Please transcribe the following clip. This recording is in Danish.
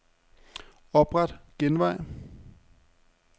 Opret genvej.